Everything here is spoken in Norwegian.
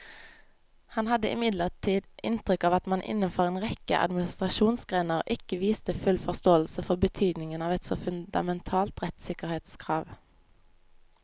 Han hadde imidlertid inntrykk av at man innenfor en rekke administrasjonsgrener ikke viste full forståelse for betydningen av et så fundamentalt rettssikkerhetskrav.